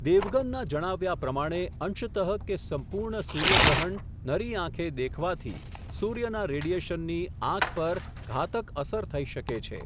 દેવગનના જણાવ્યા પ્રમાણે અંશતઃ કે સંપુર્ણ સૂર્યગ્રહણ નરી આંખે દેખવાથી, સૂર્યના રેડિએશનની આંખ પર ઘાતક અસર થઈ શકે છે.